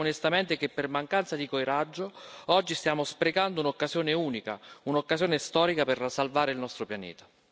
Noi crediamo onestamente che per mancanza di coraggio oggi stiamo sprecando un'occasione unica, un'occasione storica per salvare il nostro pianeta.